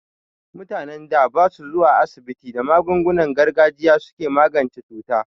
Mutanen da basu zuwa asibiti, da magungunan gargajiya suke magance cuta.